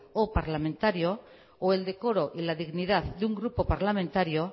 o parlamentario o el decoro y la dignidad de un grupo parlamentario